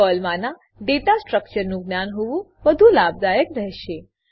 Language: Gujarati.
પર્લમાનાં ડેટા સ્ટ્રકચરનું જ્ઞાન હોવું વધુ લાભદાયક રહેશે